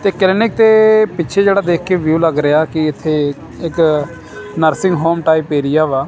ਤੇ ਕਲੀਨਿਕ ਦੇ ਪਿੱਛੇ ਜਿਹੜਾ ਦੇਖ ਕੇ ਵਿਊ ਲੱਗ ਰਿਹਾ ਕੀ ਇੱਥੇ ਇੱਕ ਨਰਸਿੰਗ ਹੋਮ ਟਾਇਪ ਏਰੀਆ ਵਾ।